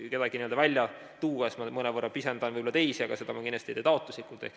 Kedagi välja tuues ma mõnevõrra pisendan võib-olla teisi, aga seda ma kindlasti ei tee taotluslikult.